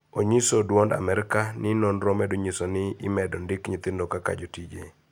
Onyiso Duond Amerka ni nonro medo nyiso ni imedo ndik nyithindo kaka jotije